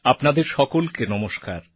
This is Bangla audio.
আপনাদের সকলকে নমস্কার